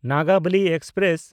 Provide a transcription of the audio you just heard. Nagavali express